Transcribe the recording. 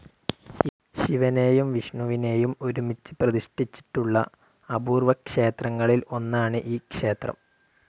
ശിവനേയും വിഷ്ണുവിനേയും ഒരുമിച്ച് പ്രതിഷ്ഠിച്ചിട്ടുള്ള അപൂർവ്വ ക്ഷേത്രങ്ങളിൽ ഒന്നാണ് ഈ ക്ഷേത്രം.